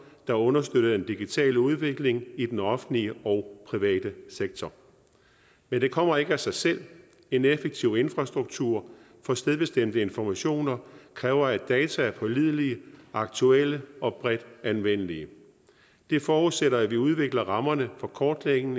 er understøttet af den digitale udvikling i den offentlige og private sektor men det kommer ikke af sig selv en effektiv infrastruktur for stedbestemte informationer kræver at data er pålidelige aktuelle og bredt anvendelige det forudsætter at vi udvikler rammerne for kortlægning